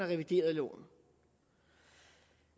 reviderede loven